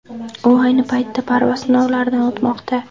U ayni paytda parvoz sinovlaridan o‘tmoqda.